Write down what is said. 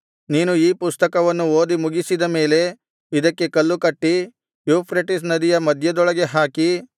ನೀನು ಈ ಪುಸ್ತಕವನ್ನು ಓದಿ ಮುಗಿಸಿದ ಮೇಲೆ ಇದಕ್ಕೆ ಕಲ್ಲುಕಟ್ಟಿ ಯೂಫ್ರೆಟಿಸ್ ನದಿಯ ಮಧ್ಯದೊಳಗೆ ಹಾಕಿ